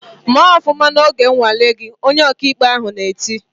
"Mee ofụma n'oge nnwale gị!" Onye ọkaikpe ahụ na-eti.